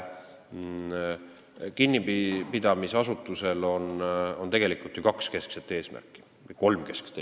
Kinnipidamisasutusel on tegelikult ju kolm keskset eesmärki, ma nimetan nõnda.